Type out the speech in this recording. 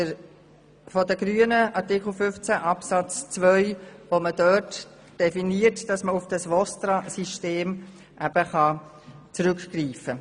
Mit diesem wird versucht, auf das VOSTRA-System zurückzugreifen.